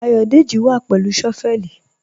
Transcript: Ayọ̀dẹ́jì wà pẹ̀lú shọ́vẹ̀lì.